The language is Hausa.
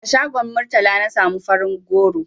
A shagon Murtala na samu farin goro.